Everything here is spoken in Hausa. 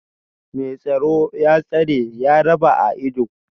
Mai tsoro, ya tsare, ya raba a ido